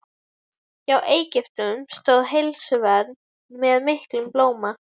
Hjá Egyptum stóð heilsuvernd með miklum blóma.